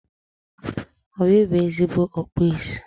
Obi bụ ezigbo ọkpụ isi